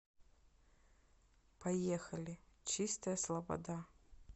поехали чистая слобода